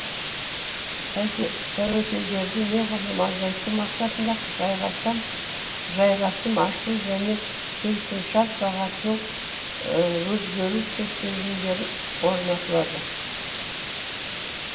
тәуекелдерді неғұрлым азайту мақсатында жайғасым ашу және келісімшарт бағасының өзгеру шектелімдерін орнатылады